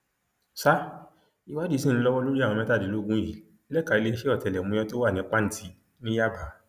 sa ìwádìí sí ń lọwọ lórí àwọn mẹtàdínlógún yìí lẹka iléeṣẹ ọtẹlẹmúyẹ tó wà ní pàǹtí ní yàbá